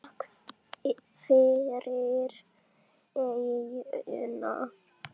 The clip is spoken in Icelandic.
Takk fyrir eyjuna.